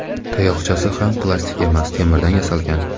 Tayoqchasi ham plastik emas, temirdan yasalgan.